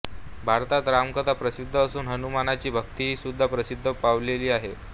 भारतात रामकथा प्रसिद्ध असून हनुमानाची भक्ती ही सुद्धा प्रसिद्ध पावलेली आहे